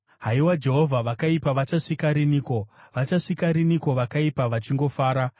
Haiwa Jehovha, vakaipa vachasvika riniko, vachasvika riniko vakaipa vachingofara?